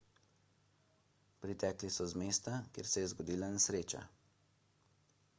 pritekli so z mesta kjer se je zgodila nesreča